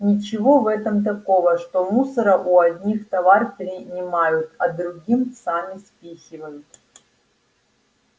ничего в этом такого что мусора у одних товар принимают а другим сами спихивают